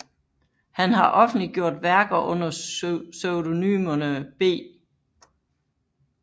Han har offentliggjort værker under pseudonymerne B